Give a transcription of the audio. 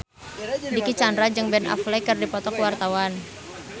Dicky Chandra jeung Ben Affleck keur dipoto ku wartawan